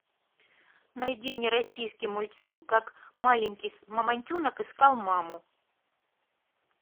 найди мне российский мультфильм как маленький мамонтенок искал маму